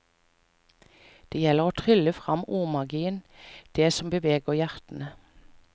Det gjelder å trylle frem ordmagien, det som beveger hjertene.